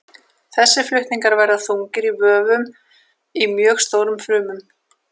Þessir flutningar verða þungir í vöfum í mjög stórum frumum.